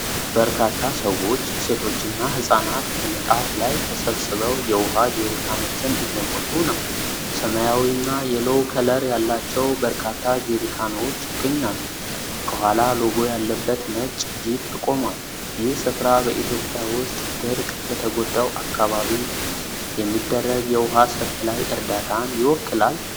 በርካታ ሰዎች፣ ሴቶችና ህፃናት፣ በንጣፍ ላይ ተሰብስበው የውሃ ጀሪካኖችን እየሞሉ ነው። ሰማያዊና የሎው ከለር ያላቸው በርካታ ጀሪካኖች ይገኛሉ። ከኋላ ሎጎ ያለበት ነጭ ጂፕ ቆሟል። ይህ ስፍራ በኢትዮጵያ ውስጥ ድርቅ በተጎዳው አካባቢ የሚደረግ የውሃ ሰፕላይ እርዳታን ይወክላል?